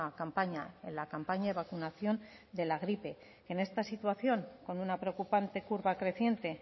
campaña en la campaña de vacunación de la gripe en esta situación con una preocupante curva creciente